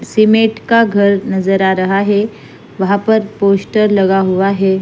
सिमट का घर नजर आ रहा है वहा पर पोस्टर लगा हुआ है।